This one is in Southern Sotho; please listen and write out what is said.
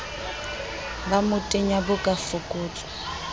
ba motenya bo ka fokotswa